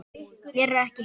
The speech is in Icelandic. Mér er ekki heitt.